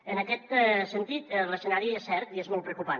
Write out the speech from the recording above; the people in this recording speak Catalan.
en aquest sentit l’escenari és cert i és molt preocupant